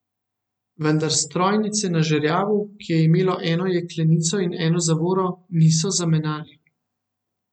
Vendar strojnice na žerjavu, ki je imel eno jeklenico in eno zavoro, niso zamenjali.